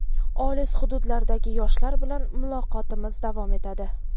Olis hududlardagi yoshlar bilan muloqotimiz davom etadi.